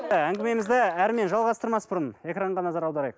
і әңгімемізді әрімен жалғастырмас бұрын экранға назар аударайық